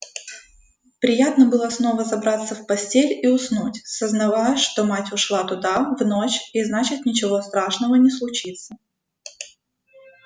приятно было снова забраться в постель и уснуть сознавая что мать ушла туда в ночь и значит ничего страшного не случится